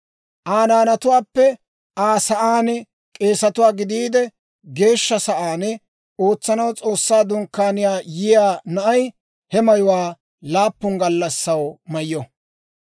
Aa naanatuwaappe Aa sa'aan k'eesatuwaa gidiide, Geeshsha Sa'aan ootsanaw S'oossaa Dunkkaaniyaa yiyaa na'ay, he mayuwaa laappun gallassaw mayyo.